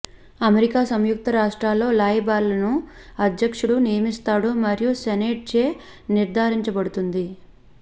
America సంయుక్త రాష్ట్రాల్లో రాయబారిలను అధ్యక్షుడు నియమిస్తాడు మరియు సెనేట్చే నిర్ధారించబడుతుంది